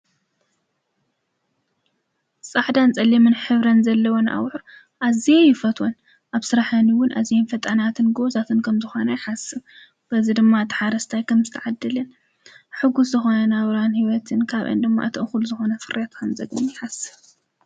ፃሕዳን ጸሊምን ኅብረን ዘለወን ኣውኁ ኣዚይ ይፈትወን። ኣብ ሥራሃኒውን እዝ ምፈጣናትን ጐወዛትን ከም ዝኾና ይሓስብ በዝ ድማ ተሓረስታይ ከምዝተዓድልን ሕጉሥ ዝኾነ ናብራን ሕይወትን ካብ እንድማ እተእዂል ዝኾነ ፍርያትን ዘግኒ ይሓስብ።